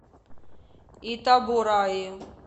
итабораи